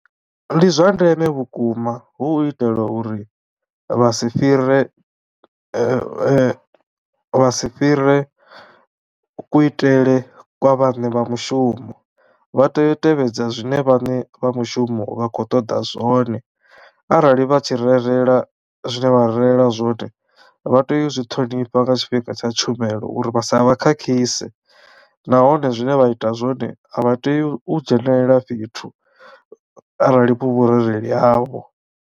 Ndi zwa ndeme vhukuma hu itela uri vha si fhire vha si fhire kuitele kwa vhaṋe vha mushumo vha tea u tevhedza zwine vhaṋe vha mushumo vha khou ṱoḓa zwone arali vha tshi rerela zwine vha rerela zwone vha tea u zwi ṱhonifha nga tshifhinga tsha tshumelo uri vha sa vha khakhise, nahone zwine vha ita zwone a vha tei u dzhenelela fhethu arali hu vhurereli havho.